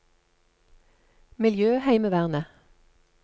miljøheimevernet